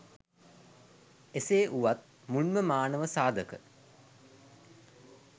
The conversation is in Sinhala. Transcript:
එසේ වුවත් මුල්ම මානව සාධක